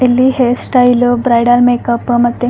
ಇಲ್ಲಿ ಹೇರ್ ಸ್ಟೈಲ್ವು bridal makeup ಮತ್ತೆ --